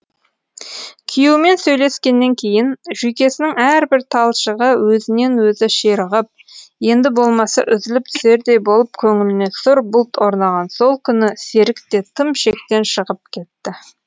күйеуімен сөйлескеннен кейін жүйкесінің әрбір талшығы өзінен өзі ширығып енді болмаса үзіліп түсердей болып көңіліне сұр бұлт орнаған сол күні серік те тым шектен шығып кетті